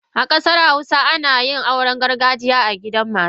A kasar hausawa ana yin auren gargajiya a gidan matar.